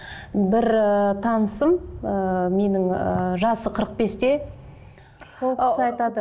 бір ыыы танысым ыыы менің ыыы жасы қырық бесте сол кісі айтады